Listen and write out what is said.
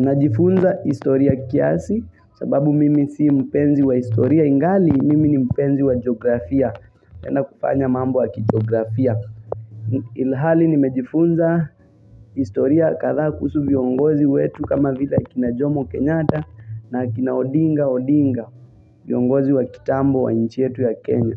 Na jifunza historia kiasi sababu mimi si mpenzi wa historia ingali mimi ni mpenzi wa geografia napenda kufanya mambo wa kijeografia Ilhali ni mejifunza historia kadha kuhusu viongozi wetu kama vile kina jomo kenyata na kina odinga odinga viongozi wa kitambo wa nchi yetu ya kenya